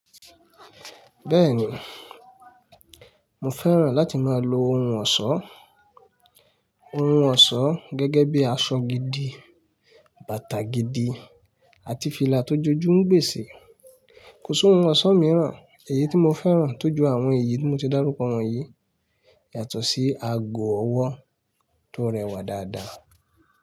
Bẹ́ẹ̀ni, mo fẹ́ràn láti máa lo oun ọ̀ṣọ́, oun ọ̀ṣọ́ gẹ́gẹ́ bí i aṣọ gidi, bàtà gidi àti fìlà tó jojú ń gbèse. Kò s'oun ọ̀ṣọ́ mìíràn èyí tí mo fẹ́ràn tójú àwọn èyí tí mo ti dárúkọ wọ̀nyí yàtọ̀ sí ago ọwọ́ tó rẹwà dáadáa.